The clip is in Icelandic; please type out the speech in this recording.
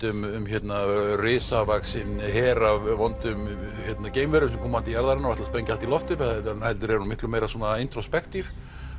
um risavaxinn her af vondum geimverum sem koma til jarðarinnar og ætla að sprengja allt í loft upp heldur er hún miklu meira